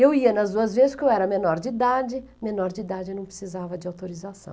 Eu ia nas duas vezes porque eu era menor de idade, menor de idade eu não precisava de autorização.